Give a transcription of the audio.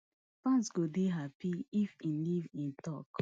fans go dey happy if im leave e tok